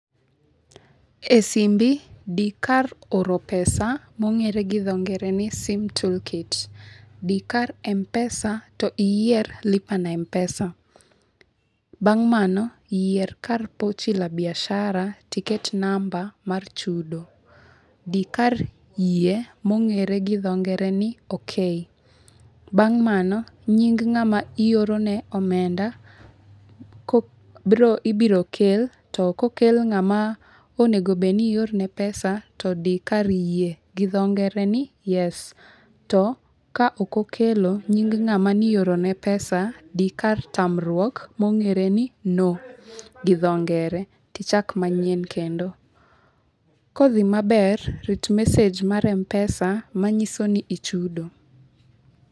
E simbi di kar oro pesa mong'ere gi dho ngere ni sim toolkit. Di kar Mpesa to iyier Lipa na Mpesa. Bang' mano, yier kar pochi la biashara tiket namba mar chudo. Di kar yie, mong'ere gi dho ngere ni okay. Bang' mano nying ng'ama ioro ne omenda ibiro kel, to kokel ng'ama onego bed ni ior ne pesa to di kar yie, gi dho ngere ni Yes. To ka ok okelo nying ng'ama nioro ne pesa, di kar tamruok, mong'ere ni No gi dho ngere tichak manyien kendo. Kodhi maber, rit message mar Mpesa manyiso ni ichudo.